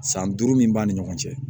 San duuru min b'a ni ɲɔgɔn cɛ